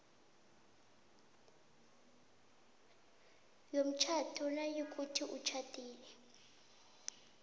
somtjhado nayikuthi utjhadile